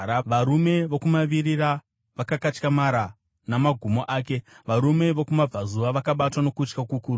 Varume vokumavirira vakakatyamara namagumo ake; varume vokumabvazuva vakabatwa nokutya kukuru.